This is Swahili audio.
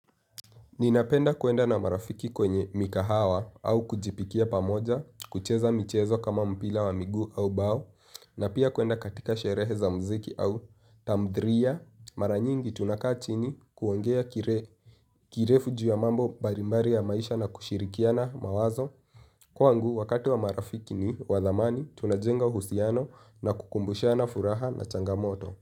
Ninapenda kuenda na marafiki kwenye mikahawa au kujipikia pamoja, kucheza michezo kama mpila wa miguu au bao, na pia kuenda katika sherehe za mziki au tamdhriya. Maranyingi tunakaa chini kuongea kirefu juu ya mambo barimbari ya maisha na kushirikiana mawazo. Kwangu, wakati wa marafiki ni wadhamani tunajenga uhusiano na kukumbushana furaha na changamoto.